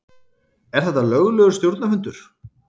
Er þetta löglegur stjórnarfundur?